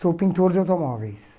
Sou pintor de automóveis.